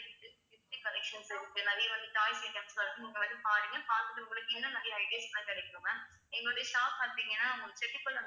collections இருக்கு நிறைய வந்து toys items லாம் இருக்கு நீங்க வந்து பாருங்க பார்த்துட்டு உங்களுக்கு இன்னும் நிறைய ideas லாம் கிடைக்கும் ma'am எங்களுடைய shop பார்த்தீங்கன்னா உங்களுக்கு செட்டிப்பள்ளம்